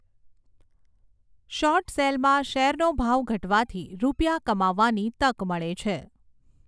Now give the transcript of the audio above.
Short સેલમાં શેરનો ભાવ ઘટવાથી રૂપિયા કમાવાની તક મળે છે.